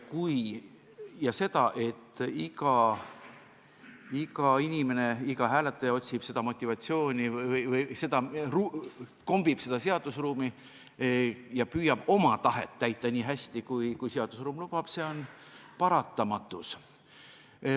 Ja see, et iga inimene, iga hääletaja otsib seda motivatsiooni või kombib seda seaduseruumi ja püüab oma tahet täita nii hästi, kui seaduseruum lubab, on paratamatu.